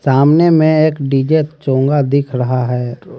सामने में एक डी_जे चोंगा दिख रहा है।